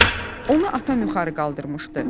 Onu atam yuxarı qaldırmışdı."